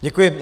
Děkuji.